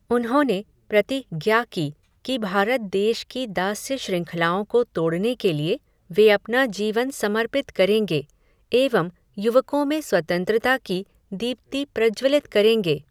उन्होंने प्रति ज्ञा की, कि भारत देश की दास्य श्रंखलाओं को तोड़ने के लिए, वे अपना जीवन समर्पित करेंगे, एवं, युवकों में स्वतंत्रता की, दीप्ति, प्रज्वलित करेंगे